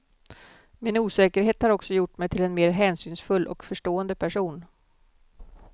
Min osäkerhet har också gjort mig till en mer hänsynsfull och förstående person.